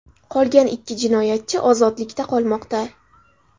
Qolgan ikki jinoyatchi ozodlikda qolmoqda.